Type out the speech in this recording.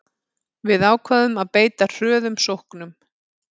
Við ákváðum að beita hröðum sóknum